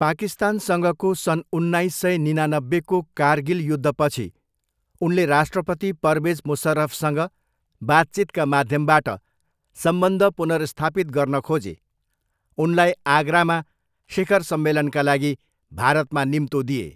पाकिस्तानसँगको सन् उन्नाइस सय निनानब्बेको कारगिल युद्धपछि उनले राष्ट्रपति परवेज मुसर्रफसँग बातचितका माध्यमबाट सम्बन्ध पुनर्स्थापित गर्न खोजे, उनलाई आगरामा शिखर सम्मेलनका लागि भारतमा निम्तो दिए।